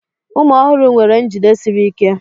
Ụmụ ọhụrụ nwere njide siri ike